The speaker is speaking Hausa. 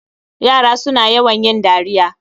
Yara suna yawan yin dariya